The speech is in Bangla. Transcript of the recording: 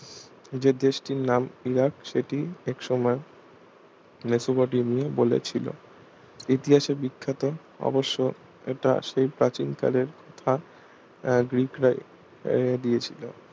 যে দেশটির নাম ইরাক সেটি এক সময়ে মেসোপটেমিয়া বলে ছিল ইতিহাসে বিখ্যাত অবশ্য এটা সেই প্রাচীন কালের উত্থান আহ গ্রীকরাই আহ দিয়েছিল